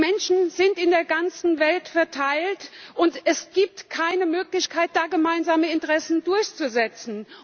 Die Menschen sind in der ganzen Welt verteilt, und es gibt keine Möglichkeit, da gemeinsame Interessen durchzusetzen.